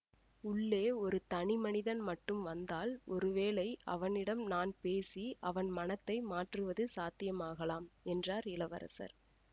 உள்ளே ஒரு தனி மனிதன் மட்டும் வந்தால் ஒருவேளை அவனிடம் நான் பேசி அவன் மனத்தை மாற்றுவது சாத்தியமாகலாம் என்றார் இளவரசர்